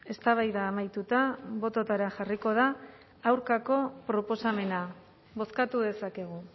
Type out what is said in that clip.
eztabaida amaituta bototara jarriko da aurkako proposamena bozkatu dezakegu